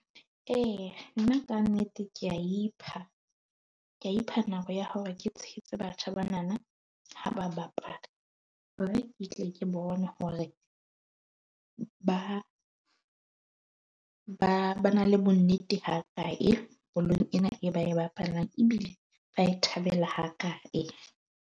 E nna ka nnete, ke a ipha, ke a ipha nako ya hore ke tshehetse batjha bana na ha ba bapala hore ke tle ke bone hore ba, ba ba na le bonnete ha kae bolong ena e ba e bapalang ebile ba e thabela ha kae.